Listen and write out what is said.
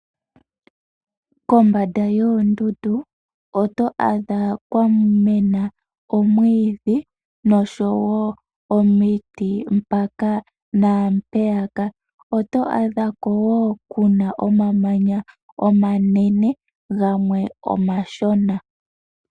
Kombanda yoondundu oto adha kwa mena omwiidhi noshowo omiti mpaka naampeyaka. Oto adha ko wo ku na omamanya omanene gamwe omashona.